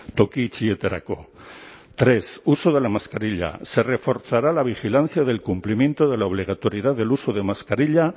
toki itxietarako tres uso de la mascarilla se reforzará la vigilancia del cumplimiento de la obligatoriedad del uso de mascarilla